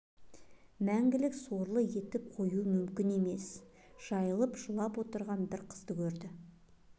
мәңгілік сорлы етіп қоюы мүмкін емес жайылып жылап отырған бір қызды көрді